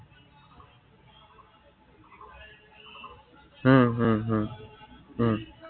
উম উম উম উম